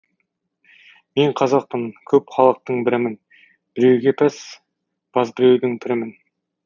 мен қазақпын көп халықтың бірімін біреуге пәс баз бірдеудің пірімін